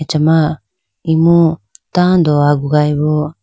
acha ma imu tando agugayi bo.